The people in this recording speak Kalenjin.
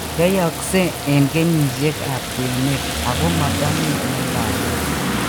Yoiyokse eng kenyisiek ab kwenet ako matomii eng' lagok